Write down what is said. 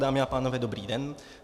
Dámy a pánové, dobrý den.